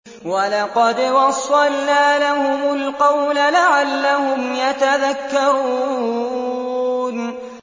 ۞ وَلَقَدْ وَصَّلْنَا لَهُمُ الْقَوْلَ لَعَلَّهُمْ يَتَذَكَّرُونَ